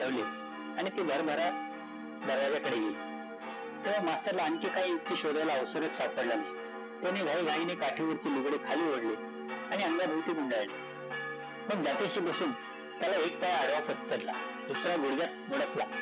तेंव्हा मास्तरला आणखी काही युक्ती शोधायला अवसरचं सापडला नाही, त्याने घाईघाईने काठीवरचे लुगडे खाली ओढले आणि अंगाभोवती गुंडाळले मग त्याच्याशी बसुन त्याला एक पाय आडवा पसरला, दुसरा गुडघ्यात मुडपला